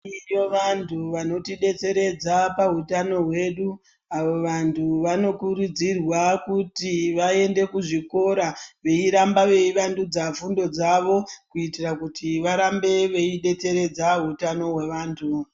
Koite vantu vanotidetseredza pahutano hwedu, avo vantu vanokurudzirwa kuti vaende kuzvikora veiramba veivandudza fundo dzavo kuitira kuti varambe veodetseredza utano hwevantu.